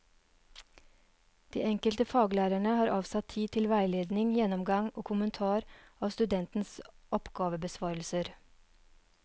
De enkelte faglærerne har avsatt tid til veiledning, gjennomgang og kommentar av studentenes oppgavebesvarelser.